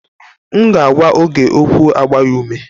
M ga agwa Oge okwụ agba ya ume.